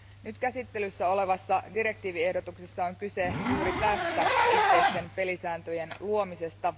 Nyt käsittelyssä olevassa direktiiviehdotuksessa on kyse juuri tästä, yhteisten pelisääntöjen luomisesta.